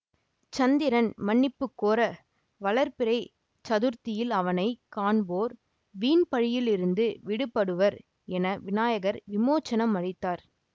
சந்திரன் மன்னிப்பு கோர வளர்பிறைச் சதுர்த்தியில் அவனை காண்போர் வீண்பழியிலிருந்து விடுபடுவர் என விநாயகர் விமோசனம் அழித்தார்